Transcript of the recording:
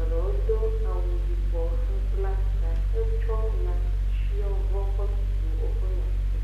eɖɔɔ do awu yibɔ hebla ta hetsɔ ŋatsitsiɔvɔ kɔbu woƒe ŋati.